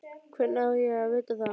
Hvernig á ég að vita það?